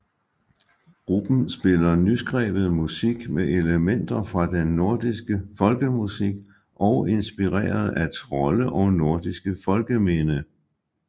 Gruppen spiller nyskrevet musik med elementer fra den nordiske folkemusik og inspireret af trolde og nordisk folkeminde